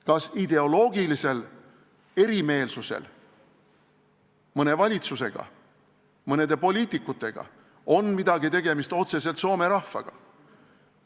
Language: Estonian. Kas ideoloogilisel erimeelsusel mõne valitsusega, mõne poliitikuga on otseselt midagi tegemist soome rahvaga?